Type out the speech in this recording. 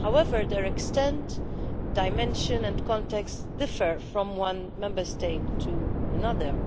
However, their extent, dimension and context differ from one Member State to another.